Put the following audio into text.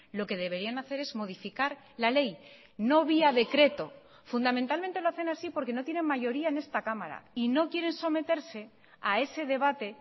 lo que deberían hacer es modificar la ley no vía decreto fundamentalmente lo hacen así porque no tienen mayoría en esta cámara y no quieren someterse a ese debate